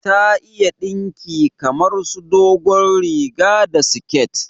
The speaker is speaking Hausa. Ta iya dinki kamar su dogon riga da siket